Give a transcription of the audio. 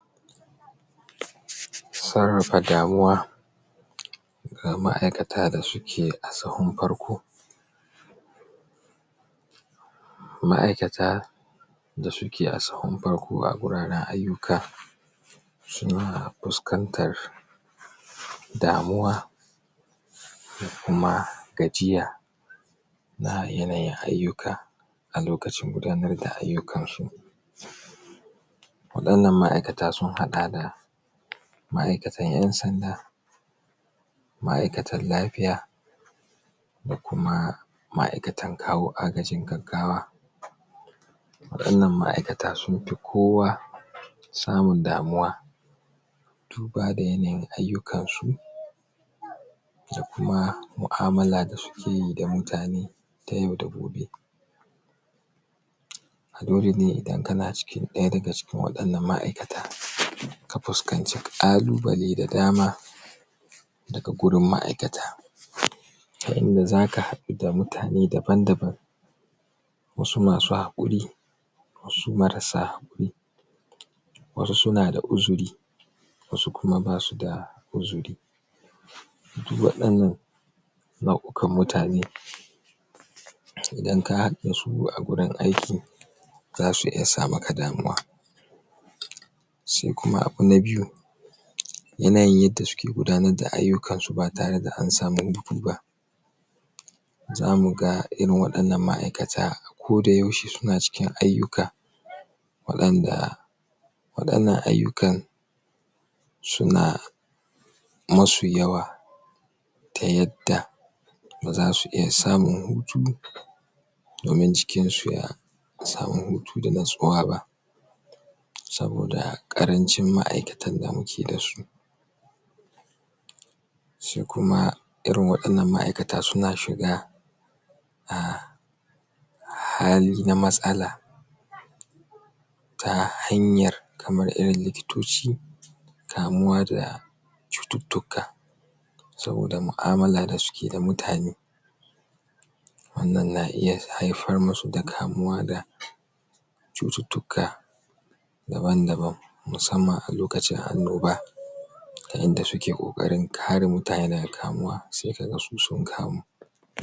? sarrafa damuwa ga ma'aikata da suke a sahun farko ma'aikata da suke a sahun farko a guraren ayyuka suna fuskantar damuwa da kuma gajiya ga yanayin ayyuka a lokacin gudanar da ayyukansu waɗannan ma’aikata sun haɗa da ma’aikatan ƴan sanda ma’aikatan lafiya da kuma ma’aikatan kawo agajin gaggawa Waɗannan ma’aikata sun fi kowa samun damuwa duba da yanayin ayyukansu da kuma mu’amala da suke yi da mutane ta ya’u da gobe A dole ne idan kana cikin ɗaya daga cikin waɗannan ma’aikata ka fuskanci ƙalubale da dama daga gurin ma’aikata.? Ta inda zaka haɗu da mutane daban-daban wasu masu haƙuri wasu marasa haƙuri wasu suna da uzuri wasu kuma basu da uzuri su waɗannan nau’ukan mutane idan ka haɗu da su a gurin aiki zasu iya sa maka damuwa Sai kuma abu na biyu? yanayin yadda suke gudanar da ayyukansu ba tare da an samu hutu ba zamu ga irin waɗannan ma’aikata ko da yaushe suna cikin ayyuka waɗanda waɗannan ayyukan suna musu yawa ta yadda ba zasu iya samun hutu domin jikinsu ya samu hutu da natsuwa ba saboda ƙarancin ma’aikatan da muke da su su kuma irin waɗannan ma’aikata suna shiga a hali na matsala ta hanyar kamar irin likitoci kamuwa da cututtuka saboda mu’amala da suke da mutane wannan na iya haifar musu da kamuwa da cututtuka daban-daban musamman a lokacin annoba ta yadda suke ƙoƙarin kare mutane daga kamuwa, sai kaga su sun kamu